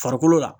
Farikolo la